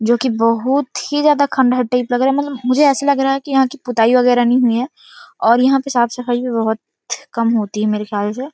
जोकि बहुत ही ज्यादा खंडर टाइप लग रहा है मतलब मुझे ऐसे लग रहा है कि यहाँ कि पुताई वगेरा नहीं हुई है और यहाँ पे साफ़ सफाई भी बहुत कम होती है मेरे ख्याल से--